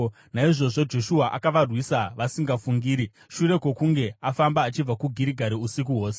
Naizvozvo Joshua akavarwisa vasingafungiri, shure kwokunge afamba achibva kuGirigari usiku hwose.